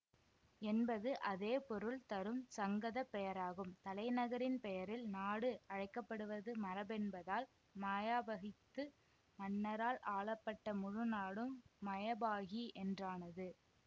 என்பது அதேபொருள் தரும் சங்கதப் பெயராகும் தலைநகரின் பெயரில் நாடு அழைக்க படுவது மரபென்பதால் மாயாபகித்து மன்னரால் ஆளப்பட்ட முழுநாடும் மயபாகி என்றானது